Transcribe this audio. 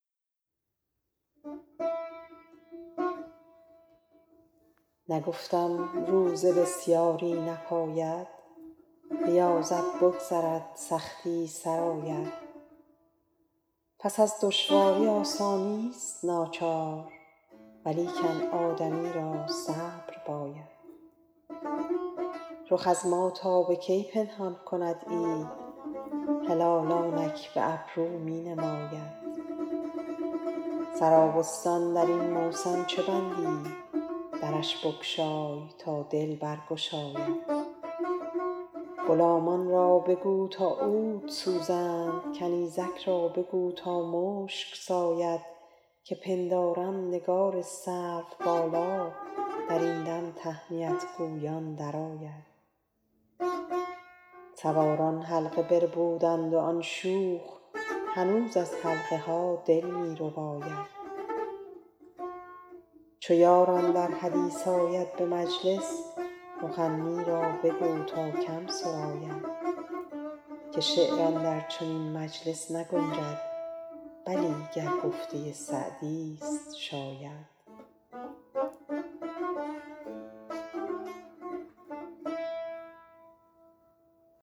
نگفتم روزه بسیاری نپاید ریاضت بگذرد سختی سر آید پس از دشواری آسانیست ناچار ولیکن آدمی را صبر باید رخ از ما تا به کی پنهان کند عید هلال آنک به ابرو می نماید سرابستان در این موسم چه بندی درش بگشای تا دل برگشاید غلامان را بگو تا عود سوزند کنیزک را بگو تا مشک ساید که پندارم نگار سروبالا در این دم تهنیت گویان درآید سواران حلقه بربودند و آن شوخ هنوز از حلقه ها دل می رباید چو یار اندر حدیث آید به مجلس مغنی را بگو تا کم سراید که شعر اندر چنین مجلس نگنجد بلی گر گفته سعدیست شاید